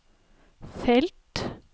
felt